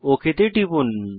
okay তে টিপুন